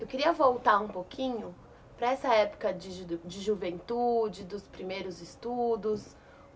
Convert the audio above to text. Eu queria voltar um pouquinho para essa época de juventude, dos primeiros estudos.